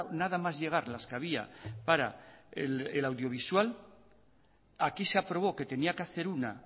nada más llegar las que había para el audiovisual aquí se aprobó que tenía que hacer una